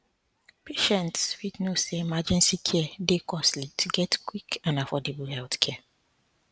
patients fit know say emergency care dey costly to get quick and affordable healthcare